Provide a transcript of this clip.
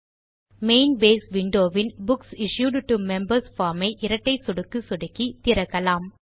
main base window win books issued to members form ஐ இரட்டை சொடுக்கு சொடுக்கி திறக்கலாம்